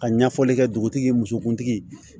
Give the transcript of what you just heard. Ka ɲɛfɔli kɛ dugutigi musokuntigi ye